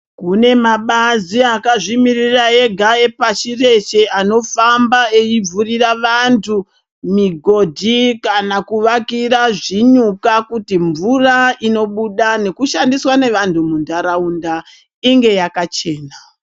Kune mabazi akazvimiririra ega epashi reshe anofamba eivhurira vantu migodhi kana kuvakira zvinyuka kuti mvura inobuda nekushandiswa nevantu muntaraunda inge yakachena.